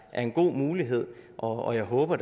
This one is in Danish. er en god mulighed og jeg håber